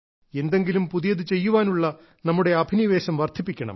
എന്തെങ്കിലും പുതിയത് ചെയ്യുവാനുള്ള നമ്മുടെ അഭിനിവേശം വർദ്ധിപ്പിക്കണം